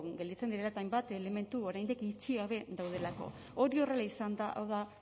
gelditzen direla eta hainbat elementu oraindik itxi gabe daudelako hori horrela izanda hau da